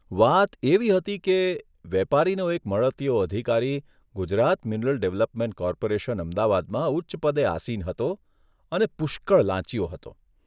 વાત એવી હતી કે, વેપારીનો એક મળતીયો અધિકારી ગુજરાત મીનરલ ડેવલપમેન્ટ કોર્પોરેશન, અમદાવાદમાં ઉચ્ચપદે આસિન હતો અને પુષ્કળ લાંચીયો હતો.